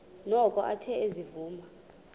noko athe ezivuma